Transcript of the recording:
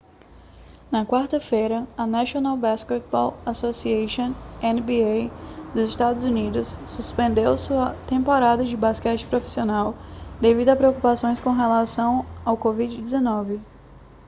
na quarta-feira a national basketball association nba dos estados unidos suspendeu sua temporada de basquete profissional devido a preocupações com relação ao covid-19